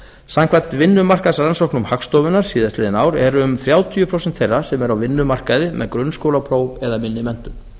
samkvæmt vinnumarkaðsrannsóknum hagstofunnar síðastliðið ár eru um þrjátíu prósent þeirra sem eru á vinnumarkaði með grunnskólapróf eða minni menntun